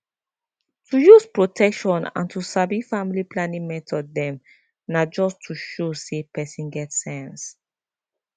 to use protection and to sabi family planning method dem na just to show say person get sense